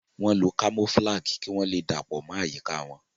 wón ló camouflage kí wón lè dapọ mọ àyíká wón.